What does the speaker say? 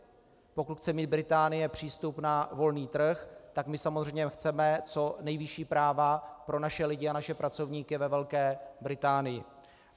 Pokud chce mít Británie přístup na volný trh, tak my samozřejmě chceme co nejvyšší práva pro naše lidi a naše pracovníky ve Velké Británii.